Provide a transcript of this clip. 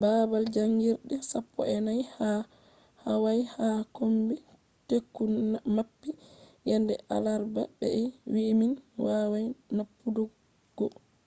baabal jaangirde sappo’enai ha hawaii ha kombi teku mappi yende alarba be ɓe wi'i mi wawai mapputuggo